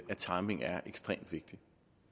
at timingen er ekstremt vigtig